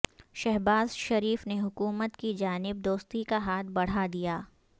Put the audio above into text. شہباز شریف نے حکومت کی جانب دوستی کا ہاتھ بڑھا دیا